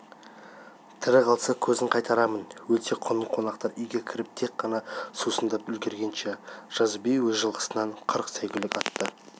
тірі қалса көзін қайтарармын өлсе құнын қонақтар үйге кіріп тек қана сусындап үлгіргенше жазы би өз жылқысынан қырық сәйгүлік атты